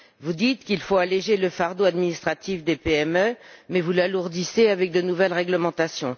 Vous dites qu'il faut alléger le fardeau administratif des PME, mais vous l'alourdissez avec de nouvelles réglementations.